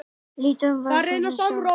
Lítum á viðfangsefni stærðfræðinnar.